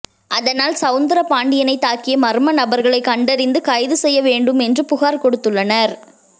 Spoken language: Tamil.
அதனால் சௌந்தரபாண்டியனை தாக்கிய மர்ம நபர்களை கண்டறிந்து கைது செய்ய வேண்டும் என்று புகார் கொடுத்துள்ளனர்